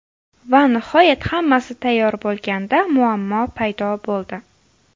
Va nihoyat hammasi tayyor bo‘lganda muammo paydo bo‘ldi.